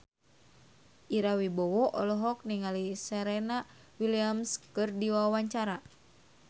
Ira Wibowo olohok ningali Serena Williams keur diwawancara